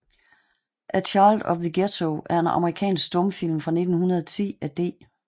A Child of the Ghetto er en amerikansk stumfilm fra 1910 af D